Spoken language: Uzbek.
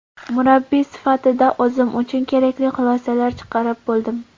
Murabbiy sifatida o‘zim uchun kerakli xulosalar chiqarib oldim”.